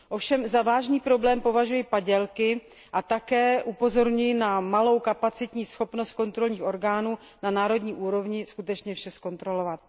Ovšem za vážný problém považuji padělky a také upozorňuji na malou kapacitní schopnost kontrolních orgánů na národní úrovni skutečně vše zkontrolovat.